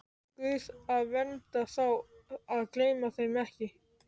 Guð að vernda þá, að gleyma þeim ekki.